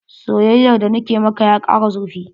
Soyayyar da na ke maka ya kara zurfi.